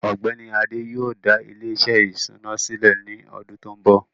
ọgbẹni Adé yóò dá ilẹ̀-iṣẹ ìṣúnà silẹ̀ ní ọdún tó nbọ.